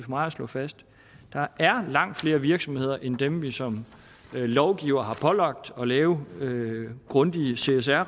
mig at slå fast langt flere virksomheder end dem vi som lovgivere har pålagt at lave grundige csr